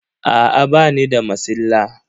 Aa bani da masilla.